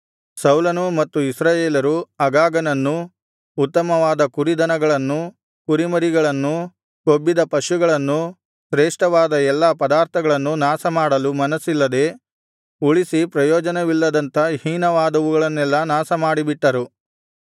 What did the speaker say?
ಸೌಲನೂ ಮತ್ತು ಇಸ್ರಾಯೇಲರೂ ಅಗಾಗನನ್ನೂ ಉತ್ತಮವಾದ ಕುರಿದನಗಳನ್ನೂ ಕುರಿಮರಿಗಳನ್ನೂ ಕೊಬ್ಬಿದ ಪಶುಗಳನ್ನೂ ಶ್ರೇಷ್ಠವಾದ ಎಲ್ಲಾ ಪದಾರ್ಥಗಳನ್ನೂ ನಾಶಮಾಡಲು ಮನಸ್ಸಿಲ್ಲದೆ ಉಳಿಸಿ ಪ್ರಯೋಜನವಿಲ್ಲದಂಥ ಹೀನವಾದವುಗಳನ್ನೆಲ್ಲಾ ನಾಶಮಾಡಿಬಿಟ್ಟರು